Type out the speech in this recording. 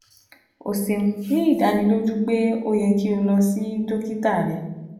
O ṣeun ni idaniloju pe o yẹ ki o lọ si dokita rẹ